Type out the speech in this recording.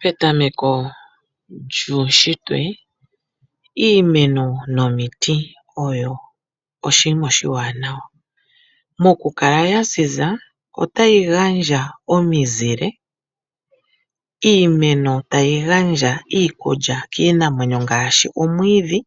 Petameko lyuunshitwe, iimeno nomiti oyo oshinima oshiwanawa. Mokukala ya ziza otayi gandja omizile, iimeno tayi gandja iikulya kiinamwenyo ngaashi omwiidhi